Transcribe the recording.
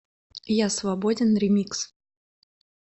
я свободен ремикс